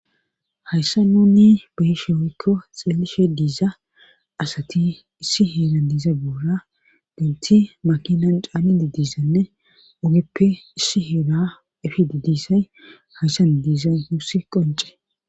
Hayssa nunni beheshe woykko xeellishe diiza asati issi heeran diiza buura denti makinan caali didisanne ogeppe issi heera efi didisay hayssan diizay nuuss qonce.